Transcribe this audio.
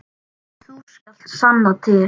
Þú skalt sanna til.